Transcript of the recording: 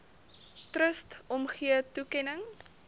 trust omgee toekenning